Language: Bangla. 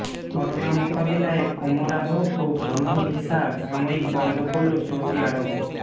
করোনা মোকাবিলায় ওমরাহ ও ভ্রমণ ভিসা সাময়িক বন্ধ করল সৌদি আরব